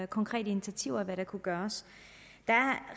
konkrete initiativer og hvad der kunne gøres der er